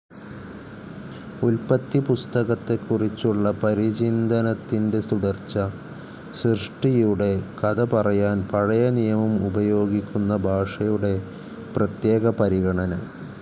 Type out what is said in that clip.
ഉല്പത്തിപ്പുസ്തകത്തെക്കുറിച്ചുള്ള പരിചിന്തനത്തിൻ്റെ തുടർച്ച. സൃഷ്ടിയുടെ കഥ പറയാൻ പഴയ നിയമം ഉപയോഗിക്കുന്ന ഭാഷയുടെ പ്രത്യേക പരിഗണന.